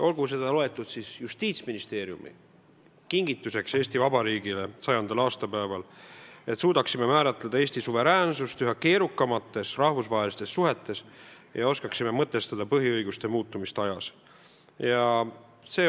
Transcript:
Võetagu seda Justiitsministeeriumi kingitusena Eesti Vabariigile 100. aastapäeval, et suudaksime määratleda Eesti suveräänsust üha keerukamates rahvusvahelistes suhetes ja oskaksime mõtestada põhiõiguste muutumist aja jooksul.